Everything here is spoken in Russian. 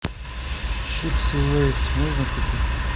чипсы лейс можно купить